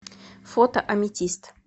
фото аметист